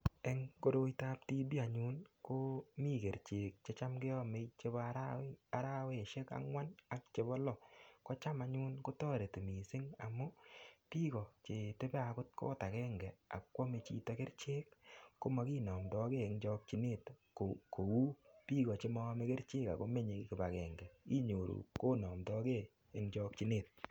Eng' koroitap TB anyun komi kerichek checham keomei chebo araweshek ang'wan ak chebo loo kocham anyun kotoreti mising' amun biko chetebe akot koot agenge akoomei chito kerichek komakinomtokei eng' chokchinet biko chemami kerichek akomenyei kipagenge agenge konomtogei eng' chokchinet